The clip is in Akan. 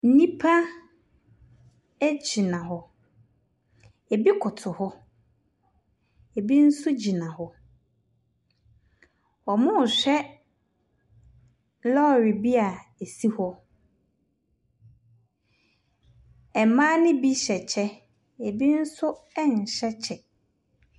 Nnipa egyina hɔ. Ebi kotow hɔ, ebi nso gyina hɔ. Ɔmo hwɛ lɔre bi a esi hɔ. Mmaa ne bi hyɛ kyɛ, ebi nso ɛnhyɛ kyɛ.